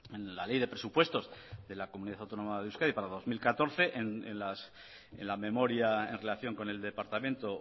en la ley de presupuestos de la comunidad autónoma de euskadi para dos mil catorce en la memoria en relación con el departamento